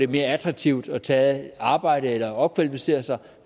mere attraktivt at tage arbejde eller opkvalificere sig